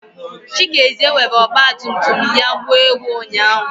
Chikezie were ọgbatumtum ya gbuo ewu ụnyahụ.